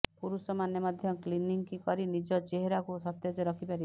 ପୁରୁଷମାନେ ମଧ୍ୟ କ୍ଲିନ୍ଜିଂ କରି ନିଜ ଚେହେରାକୁ ସତେଜ ରଖିପାରିବେ